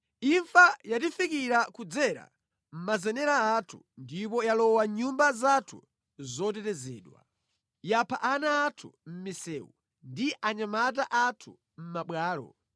Imfa yatifikira kudzera mʼmazenera athu ndipo yalowa mʼnyumba zathu zotetezedwa; yapha ana athu mʼmisewu, ndi achinyamata athu mʼmabwalo.